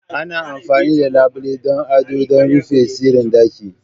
Ana amfani da labule don yin ado da rufe sirrin ɗaki.